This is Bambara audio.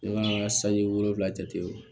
Ne ka sanji wolonfila jate wo